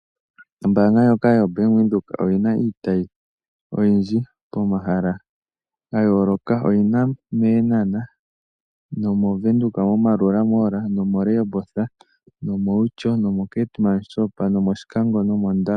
Ombanga ndjoka yoBank windhoek oyina iitayi oyindji pomahala ga yoloka. Oyina mEenhana, moVenduka moMaerua Mall, Rehoboth, Outjo, Keetmanshoop, Oshikango, nomOndangwa.